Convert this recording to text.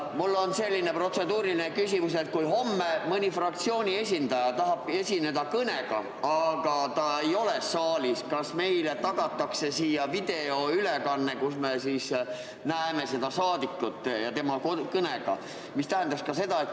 Mul on selline protseduuriline küsimus: kui homme mõni fraktsiooni esindaja tahab esineda kõnega, aga ta ei ole saalis, siis kas meile tagatakse siin videoülekanne, kus me näeme seda saadikut kõnelemas?